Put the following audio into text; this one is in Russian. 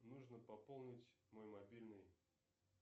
нужно пополнить мой мобильный